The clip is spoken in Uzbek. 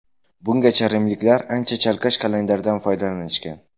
Bungacha rimliklar ancha chalkash kalendardan foydalanishgan.